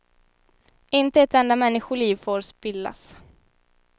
Inte ett enda människoliv får spillas.